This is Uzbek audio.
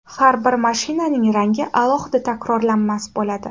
Har bir mashinaning rangi alohida takrorlanmas bo‘ladi.